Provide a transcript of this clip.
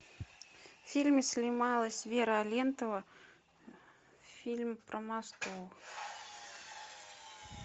в фильме снималась вера алентова фильм про москву